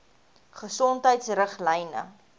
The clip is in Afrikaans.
gesondheidriglyne